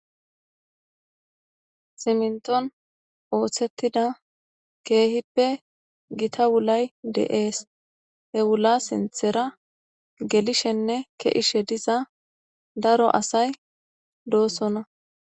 siminton oothtettida keehippe gita wulay de'ees. he wula sinthera gelishenne ke'ishe diza daro asay doossona.